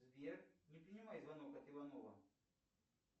сбер не принимай звонок от иванова